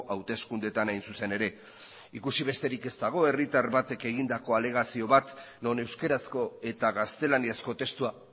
hauteskundeetan hain zuzen ere ikusi besterik ez dago herritar batek egindako alegazio bat non euskarazko eta gaztelaniazko testua